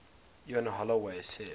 ian holloway said